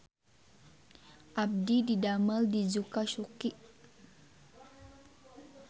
Abdi didamel di Zuka Suki